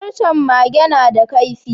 Farcen Mage nada kaifi